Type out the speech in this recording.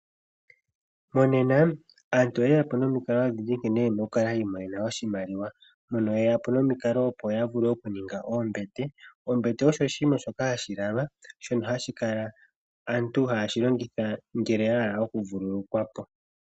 Monena aantu oyeya po nomikalo odhindji nkene yena okukala yiimonena oshimaliwa, mpono yeya po nomikalo opo yaninge oombete. Oombete osho oshinima shoka hashi lalwa, shono hashi kala aantu haye shi longitha ngele yahala okuvululukwapo.